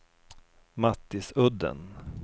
Mattisudden